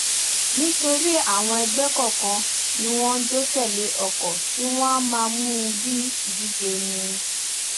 nítorí àwọn ẹgbẹ kọọkan ní wọn njó tẹlé ọkọ tiwọn wọn a máa mú u bí ìdíje ni